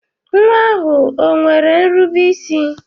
Nwa ahụ o nwere nrube isi?